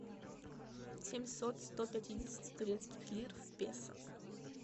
семьсот сто пятидесяти турецких лир в песо